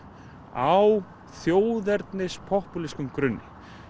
á þjóðernis popúlískum grunni